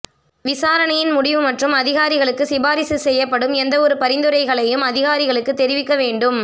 விசாரணையின் முடிவு மற்றும் அதிகாரிகளுக்கு சிபாரிசு செய்யப்படும் எந்தவொரு பரிந்துரைகளையும் அதிகாரிகளுக்கு தெரிவிக்க வேண்டும்